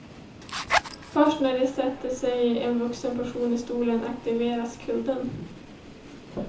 Först när det sätter sig en vuxen person i stolen aktiveras kudden.